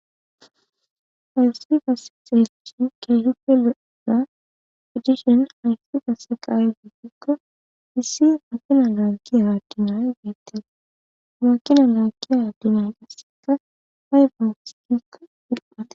Ha misile xeelishn keehippe lo'za gidishn haysi qaseka aybe gikoni issi afila dancida atumay Desi.